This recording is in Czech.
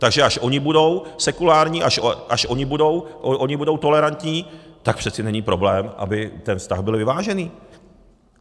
Takže až oni budou sekulární, až oni budou tolerantní, tak přeci není problém, aby ten vztah byl vyvážený.